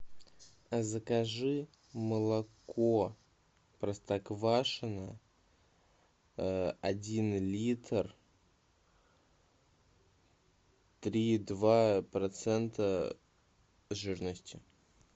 закажи молоко простоквашино один литр три и два процента жирности